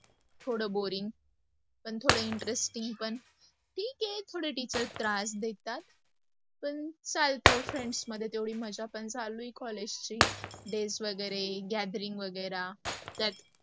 थोड boring l पण थोड interesting पण ठीक आहे थोडे teachers त्रास देतात पण चालत friends सोबत तेवढी मज्जा पण चालू आहे collage ची dates वगैरे, gathering वेगैरे.